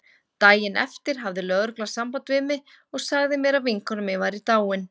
Daginn eftir hafði lögreglan samband við mig og sagði mér að vinkona mín væri dáin.